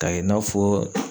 K'a kɛ i n'a fɔ